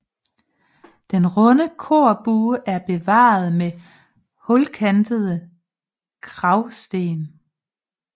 Den runde korbue er bevaret med hulkantede kragsten